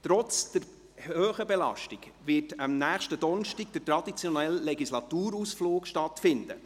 Trotz der hohen Belastung wird nächsten Donnerstag der traditionelle Legislaturausflug stattfinden.